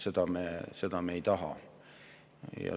Seda me ei taha.